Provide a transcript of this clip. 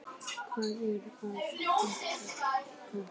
Hvað er að frétta þaðan?